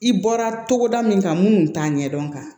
I bɔra togoda min kan munnu t'a ɲɛdɔn kan